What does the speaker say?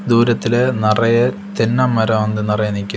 தூரத்துல நறைய தென்ன மரோ வந்து நறைய நிக்குது.